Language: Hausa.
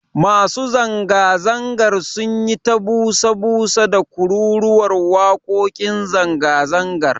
Masu zanga-zangar sun yi ta busa busa da kururuwar wakokin zanga-zangar.